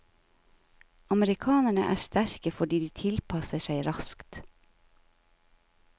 Amerikanerne er sterke fordi de tilpasser seg raskt.